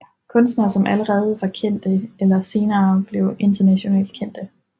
Kunstnere som allerede var kendte eller senere blev internationalt kendte